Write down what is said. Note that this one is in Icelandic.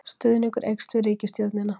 Stuðningur eykst við ríkisstjórnina